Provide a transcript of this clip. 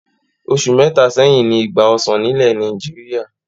Oṣù mẹ́ta sẹ́yìn ni ìgbà ọsàn nílẹ̀ Nàìjíríà.